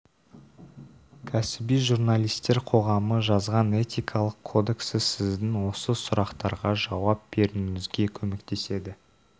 кәсіби журналистер қоғамы жазған этикалық кодексі сіздің осы сұрақтарға жауап беруіңізге көмектеседі